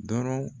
Dɔrɔn